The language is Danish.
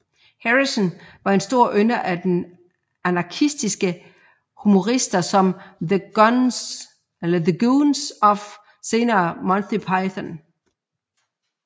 Harrison var en stor ynder af anarkistiske humorister som The Goons og senere Monty Python